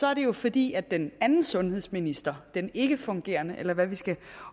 er det jo fordi den anden sundhedsminister den ikkefungerende eller hvad vi skal